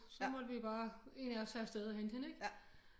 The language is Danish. Så måtte vi bare en af os tage afsted og hente hende ikke